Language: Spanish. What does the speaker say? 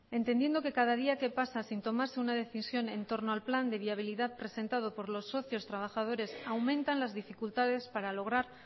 entendiendo que cada día que pasa sin tomarse una decisión en torno al plan de viabilidad presentado por los socios trabajadores aumentan las dificultades para lograr